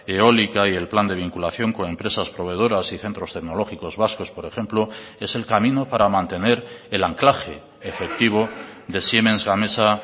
eólica y el plan de vinculación con empresas proveedoras y centros tecnológicos vascos por ejemplo es el camino para mantener el anclaje efectivo de siemens gamesa